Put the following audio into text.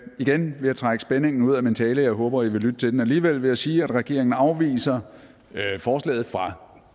igen vil jeg trække spændingen ud af min tale jeg håber i vil lytte til den alligevel ved at sige at regeringen afviser forslaget fra